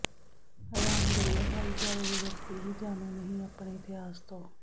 ਰਾਮਗੜ੍ਹੀਆ ਭਾਈਚਾਰੇ ਦੇ ਵਿਅਕਤੀ ਹੀ ਜਾਣੂ ਨਹੀਂ ਆਪਣੇ ਇਤਿਹਾਸ ਤੋਂ